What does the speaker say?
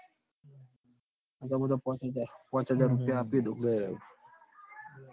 નઈ તો મુ તો પાંચ હજાર પાંચ હજાર રૂપિયા આપી દઉં દર